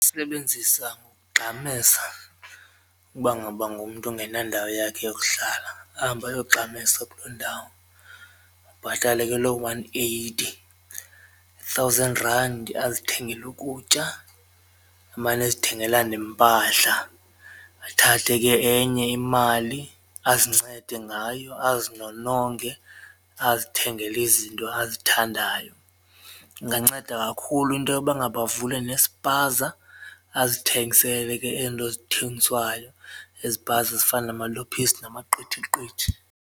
Sebenzisa ngokugxamesa ukuba ngaba ngumntu engenandawo yakhe yokuhlala, ahambe ayogxamesa kuloo ndawo abhatale ke loo one-eighty, i-thousand rand, azithengele ukutya amane ezithengela nempahla, athathe ke enye imali azincede ngayo, azinononge azithengele izinto azithandayo. Inganceda kakhulu into yoba ngaba avule nespaza azithengisele ke ezi nto ezithengiswayo ezipaza ezifana namalophisi namaqithiqithi.